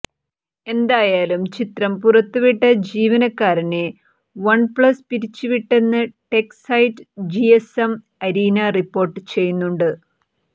എന്തായാലും ചിത്രം പുറത്തുവിട്ട ജീവനക്കാരനെ വണ്പ്ലസ് പിരിച്ചുവിട്ടെന്ന് tech site GSM arena report ചെയ്യുന്നുണ്ട്